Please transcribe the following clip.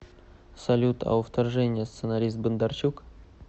салют а у вторжения сценарист бондарчук